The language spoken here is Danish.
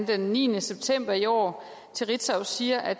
den niende september i år til ritzau siger at